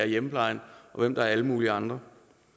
hjemmeplejen og hvem der er alle mulige andre